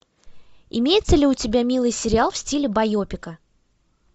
имеется ли у тебя милый сериал в стиле байопика